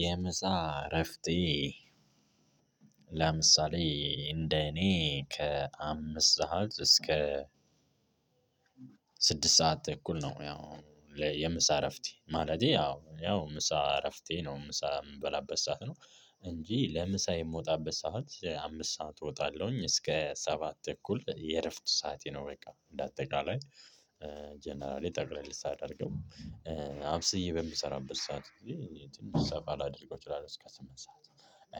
የምሳ እረፍቴ ለምሳሌ እንደኔ ከአምስት ሰዓት እስከ ስድስት ሰዓት ተኩል ነው። የምሳእረፍቴ ማለቴ ያው ምሳእረፍቴ ነው። እንጂ የምሳ እረፍ ቴ አምስት ስዓት ነው እንደ አጠቃላይ። ጠቅለል ሳደርገው አብስዬ በምሰራበት ሰዓት ጊዜ ትንሽ ሰፋ ላደርገው እችላለሁ። እስከ ስምንት ሰዓት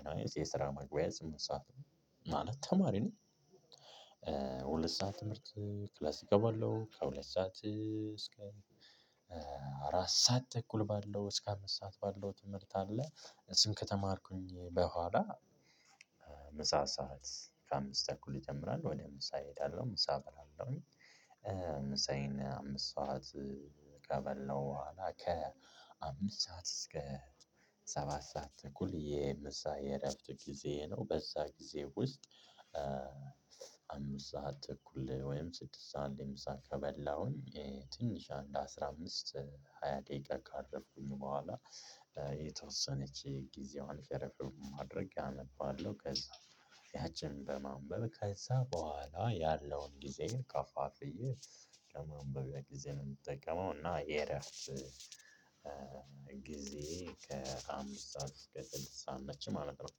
ኤኒዋይ የስራ መግቢያ ስምንት ሰዓት ነው ማለት ተማሪ ነኝ። ነው ሁለት ሰዓት ትምህርት ክላስ እገባለሁ ከሁለት ሰዓት እስከ አራት ሰዓት ተኩል ባለው እስከ አምስት ሰዓት ባለው ትምህርት አለ። እሱን ከተማርኩኝ በኋላ። ምሳ ሰዓት ከአምስት ተኩል ይጀምራል ወደ ምሳ እሄዳለሁ ምሳ እበራለሁኝ። ምሳዬን አምስት ሰዓት ከበላሁ በኋላ ከአምስት ሰዓት እስከ ሰባት ሰዓት ተኩል የምሳ የእረፍት ጊዜ ነው በዛ ጊዜ ውስጥ። አምስት ሰዓት እኩል ወይም ስድስት ሰዓት ላይ ምሳ ከበላሁኝ ትንሽ አንድ አስራ አምስት ሃያ ደቂቃ ካረፍኩኝ በኋላ። የተወሰነች ጊዜዋን ሸረፍ በማድረግ አነባለሁ ከዛ ያችን በማንበብ ከዛ በኋላ ያለውን ጊዜ ከፋፍዬ ለማንበቢያ ጊዜ ነው የምጠቀመው። እና የረፍት ጊዜየ ከአምስት ሰዓት እስከ ስድስት ሰዓት ነች ማለት ነው።